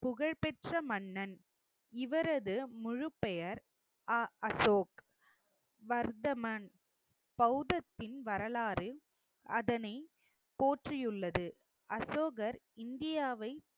புகழ்பெற்ற மன்னன். இவரது முழுப்பெயர் அ~ அசோக் வர்த்தமன். பௌத்தத்தின் வரலாறு அதனை போற்றியுள்ளது. அசோகர் இந்தியாவை